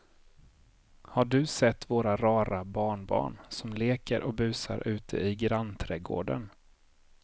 Har du sett våra rara barnbarn som leker och busar ute i grannträdgården!